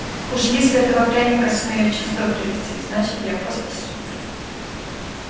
уж если этого пряника сумею в чувство привести значит я просто супер